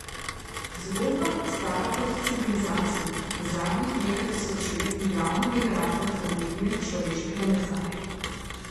Zgodba, stara kot civilizacija, je zadnjih nekaj tisoč let glavni generator tragedije človeškega mesa.